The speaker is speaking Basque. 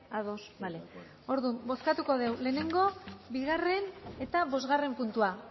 ados bozkatuko dugu lehengo bigarren eta bosgarren puntua